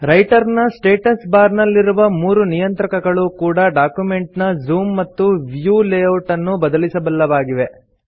writer ನ status bar ನಲ್ಲಿರುವ ಮೂರು ನಿಯಂತ್ರಕಗಳು ಕೂಡಾ ಡಾಕ್ಯುಮೆಂಟ್ ನ ಜೂಮ್ ಮತ್ತು ವ್ಯೂ ಲೇಯೌಟ್ ಅನ್ನು ಬದಲಿಸಬಲ್ಲವಾಗಿವೆ